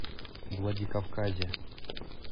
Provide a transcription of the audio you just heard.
владикавказе